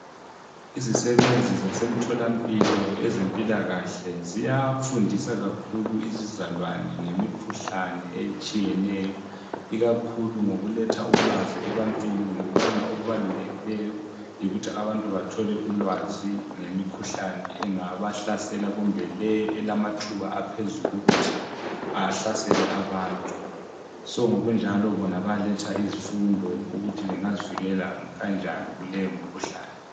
Izisebenzi zasemtholampilo ezempilakahle, ziyafundsa kakhulu izizalwane ngemikhuhlane etshiyeneyo. Ikakhulu ngokuletha ulwazi ebantwini ngokubana okubalulekileyo yikuthi abantu bathole ulwazi ngemikhuhlane engabahlasela, kumbe leyi elamathuba aphezulu ukuthi ahlasele abantu. So ngokunjalo bona bayaletha izifundo ukuthi bengazivikela kanjani kuleyo mkhuhlane.